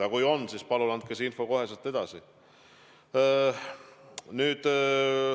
Aga kui on, siis palun andke see info kohe edasi.